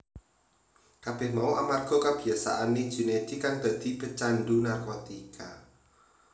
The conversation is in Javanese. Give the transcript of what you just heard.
Kabeh mau amarga kabiyasaane Junaedi kang dadi pecandhu narkotika